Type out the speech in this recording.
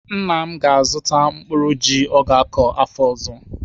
Nna m ga-azụtara mkpụrụ ji ọ ga-akọ afọ ọzọ.